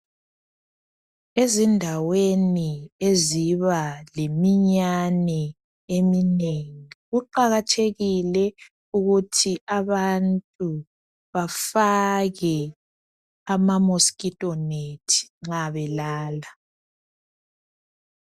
Ezindaweni eziba leminyane eminengi kuqakathekile ukuthi abantu bafake amamosquito net nxa belala.